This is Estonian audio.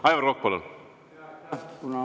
Aivar Kokk, palun!